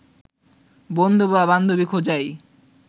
বন্ধু বা বান্ধবী খোঁজাই